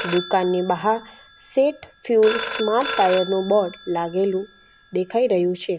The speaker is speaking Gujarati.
દુકાનની બહાર સેટ ફ્યુલ સ્માર્ટ ટાયર નું બોર્ડ લાગેલું દેખાઈ રહ્યું છે.